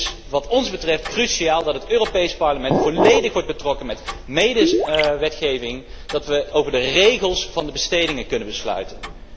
Het is wat ons betreft cruciaal dat het Europees Parlement volledig wordt betrokken bij de medewetgeving, dat wij over de regels van de bestedingen kunnen besluiten.